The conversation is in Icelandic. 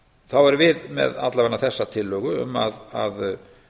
þá erum við allavega með þessa tillögu um að